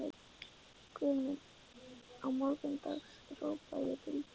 Guð minn, að morgni dags hrópa ég til þín